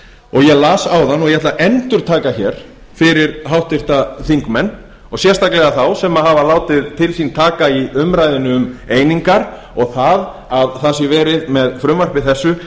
og ég las áðan og ég ætla að endurtaka hér fyrir háttvirta þingmenn og sérstaklega þá sem hafa látið til sín taka í umræðunni um einingar og það að verið sé með frumvarpi þessu